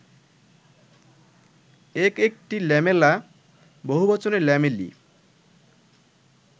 এক একটি ল্যামেলা, বহুবচনে ল্যামেলি